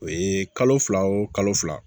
O ye kalo fila o kalo fila